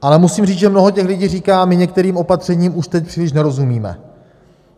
Ale musím říct, že mnoho těch lidí říká, my některým opatřením už teď příliš nerozumíme.